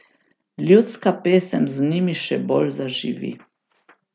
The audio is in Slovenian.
Ljudska pesem z njimi še bolj zaživi.